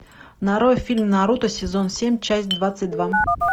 нарой фильм наруто сезон семь часть двадцать два